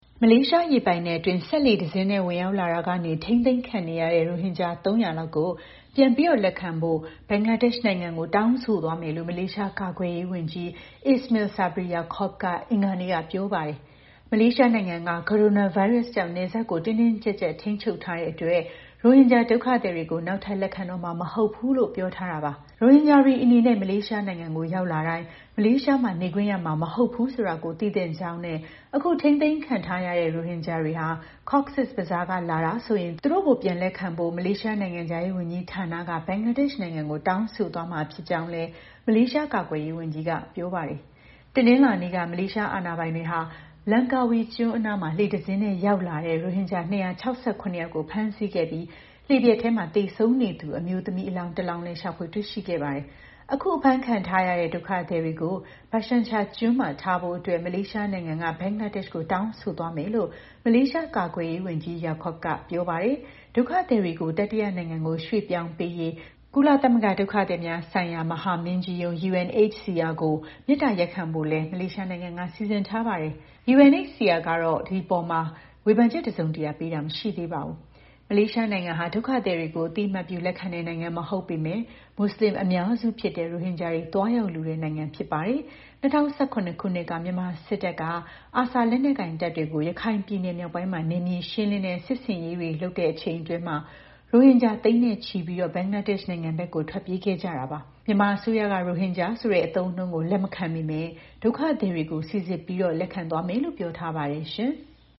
မလေးရှား ရေပိုင်နက်အတွင်း စက်လှေတစ်စင်းနဲ့ ဝင်ရောက်လာရာက ထိန်းသိမ်းခံနေရတဲ့ ရိုဟင်ဂျာ ၃၀၀ လောက်ကို ပြန်လက်ခံဖို့ ဘင်္ဂလားဒေ့ရှ်နိုင်ငံကို တောင်းဆိုသွားမယ်လို့ မလေးရှား ကာကွယ်ရေးဝန်ကြီး Ismail Sabri Yaakob က အင်္ဂါနေ့က ပြောပါတယ်။ မလေးရှားနိုင်ငံက ကိုရိုနာဗိုင်းရပ်စ်ကြောင့် နယ်စပ်ကို တင်းတင်းကြပ်ကြပ်ထိန်းချုပ်ထားတာကြောင့် ရိုဟင်ဂျာ ဒုက္ခသည် တွေကို နောက်ထပ် လက်ခံတော့မှာ မဟုတ်ဘူးလို့ ပြောထားတာပါ။ ရိုဟင်ဂျာတွေ အနေနဲ့ မလေးရှားနိုင်ငံကို ရောက်လာတိုင်း မလေးရှားမှာ နေခွင့်ရမှာ မဟုတ်ဘူးဆိုတာကို သိသင့်ကြောင်းနဲ့ အခု ထိန်းသိမ်းခံထားရတဲ့ ရိုဟင်ဂျာတွေဟာ Cox’s Bazar က လာတာဆိုရင် သူတို့ကို ပြန်လက်ခံဖို့ မလေးရှားနိုင်ငံခြားရေးဝန်ကြီး ဌာနက ဘင်္ဂလားဒေ့ရှ်နိုင်ငံကို တောင်းဆိုသွားမှာ ဖြစ်ကြောင်းလည်း မလေးကာကွယ်ရေးဝန်ကြီးက ပြောပါတယ်။ တနင်္လာနေ့က မလေးရှား အာဏာပိုင်တွေက လန်ကာဝီကျွန်းအနား လှေတစ်စင်းနဲ့ ရောက်လာတဲ့ ရိုဟင်ဂျာ ၂၆၇ ယောက်ကို ဖမ်းဆီးခဲ့ပြီး လှေပျက်ထဲ သေဆုံးနေသူ အမျိုးသမီး အလောင်းတလောင်းကိုလည်း ရှာဖွေ တွေ့ရှိခဲ့ပါတယ်။ အခု အဖမ်းခံထားရတဲ့ ဒုက္ခသည်တွေကို Bhasan Char ကျွန်းမှာ ထားဖို့ မလေးရှားနိုင်ငံက ဘင်္ဂလားဒေ့ရှ်ကို တောင်းဆိုသွားမယ်လို့လည်း မလေးရှား ကာကွယ်ရေးဝန်ကြီး Yaakob က ပြောပါတယ်။ ဒုက္ခသည်တွေကို တတိယနိုင်ငံကို ရွှေ့ပြောင်းပေးရေး ကုလသမဂ္ဂ ဒုက္ခသည်များ ဆိုင်ရာ မဟာမင်းကြီးရုံး (UNHCR) ကို မေတ္တာရပ်ခံဖို့ကိုလည်း မလေးရှားနိုင်ငံက စီစဉ်ထားပါတယ်။ UNHCR ကတော့ ဝေဖန်ချက် တစုံတရာ ပေးတာ မရှိသေးပါဘူး။ မလေးရှားနိုင်ငံဟာ ဒုက္ခသည်တွေကို အသိအမှတ်ပြု လက်ခံတဲ့ နိုင်ငံ မဟုတ်ပေမဲ့ မူဆလင်အများစုဖြစ်တဲ့ ရိုဟင်ဂျာတွေ သွားရောက်လိုတဲ့ နိုင်ငံဖြစ်ပါတယ်။ ၂၀၁၇ ခုနှစ်က မြန်မာစစ်တပ်က ARSA လက်နက်ကိုင်တပ်တွေကို ရခိုင်ပြည်နယ် မြောက်ပိုင်းမှာ နယ်မြေ ရှင်းလင်းတဲ့ စစ်ဆင်ရေးတွေ လုပ်ချိန်အတွင်း ရိုဟင်ဂျာ သိန်းချီပြီး ဘင်္ဂလားဒေ့ရှ်နိုင်ငံဘက် ထွက်ပြေးခဲ့ကြတာပါ။ မြန်မာအစိုးရက ရိုဟင်ဂျာ ဆိုတဲ့အသုံးအနှုန်းကို လက်မခံပေမဲ့ ဒုက္ခသည်တွေကို စိစစ်ပြီး လက်ခံသွားမယ်လို့ ပြောထားပါတယ် ရှင်။